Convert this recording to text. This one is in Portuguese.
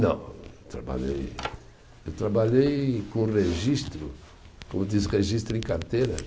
Não, eu trabalhei, eu trabalhei com registro, como diz registro em carteira